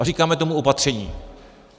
A říkáme tomu opatření.